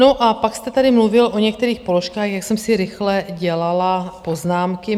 No, a pak jste tady mluvil o některých položkách, jak jsem si rychle dělala poznámky.